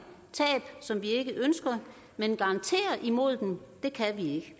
tab som vi ikke ønsker men garantere imod dem kan vi ikke